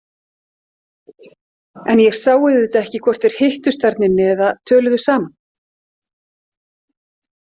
En ég sá auðvitað ekki hvort þeir hittust þarna inni eða töluðu saman.